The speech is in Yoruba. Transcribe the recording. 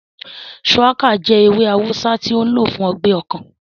Shùwákà jẹ́ ewé awùsá tó n lò fún ọgbẹ́ ọkàn